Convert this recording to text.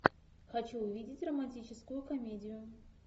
хочу увидеть романтическую комедию